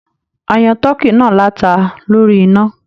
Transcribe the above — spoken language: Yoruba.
A yan tọ̀ọ́kí náà lata lórí iná.